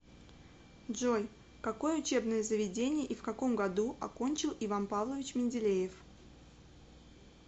джой какое учебное заведение и в каком году окончил иван павлович менделеев